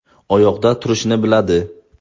Oyoqda turishni biladi.